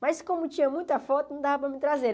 Mas como tinha muita foto, não dava para mim trazer.